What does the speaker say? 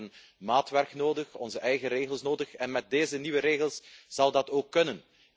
We hebben maatwerk nodig, onze eigen regels, en met deze nieuwe regels zal dat ook kunnen.